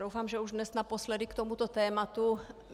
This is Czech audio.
Doufám, že už dnes naposledy k tomuto tématu.